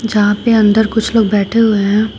जहां पे अंदर कुछ लोग बैठे हुए हैं।